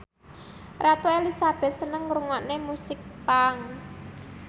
Ratu Elizabeth seneng ngrungokne musik punk